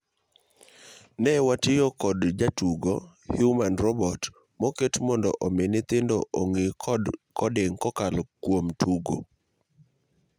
�'Ne watiyo kod jatugo 'Human-Robot' moket mondo omii nyithindo ong'iikod codingkokalo kuom tugo,